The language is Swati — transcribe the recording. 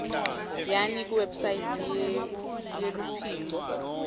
yani kuwebsite yeluphiko